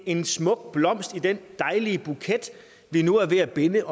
en smuk blomst i den dejlige buket vi nu er ved at binde